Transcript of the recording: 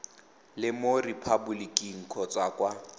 le mo repaboliking kgotsa kwa